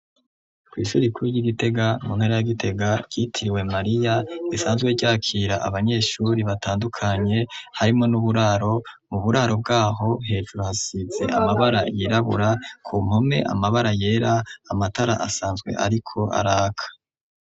Kw'ishure rikuru ry'i gitega mu ntara ya gitega ryitiriwe mariya risanzwe ryakira abanyeshuri batandukanye harimwo n'uburaro, mu buraro bwaho hejuru hasize amabara yirabura, ku mpome amabara yera, amatara asanzwe ariko araka.